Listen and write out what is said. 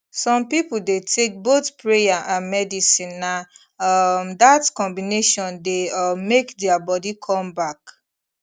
some people dey take both prayer and medicinena um that combination dey um make their body come back